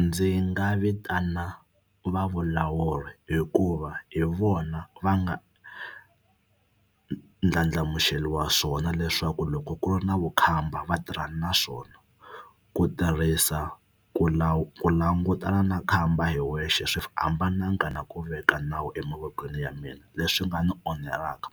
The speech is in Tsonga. Ndzi nga vitana va vulawuri hikuva hi vona va nga ndlandlamuxeriwa swona leswaku loko ku ri na vukhamba va tirhana na swona. Ku tirhisa ku ku langutana na khamba hi wexe swi hambananga na ku veka nawu emavokweni ya mina leswi nga ni onhelaka